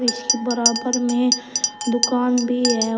इसकी बराबर में दुकान भी है और--